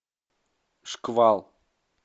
шквал